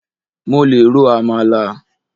Mo lè ro àmàlà.